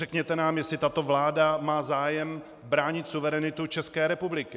Řekněte nám, jestli tato vláda má zájem bránit suverenitu České republiky.